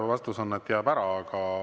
Vastus on, et jääb ära.